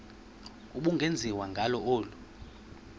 ubungenziwa ngalo olu